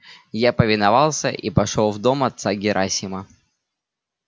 я повиновался и пошёл в дом отца герасима